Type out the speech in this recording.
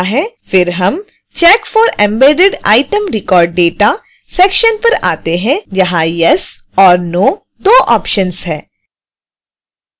फिर हम check for embedded item record data section पर आते हैं यहाँ yes और no दो ऑप्शन्स हैं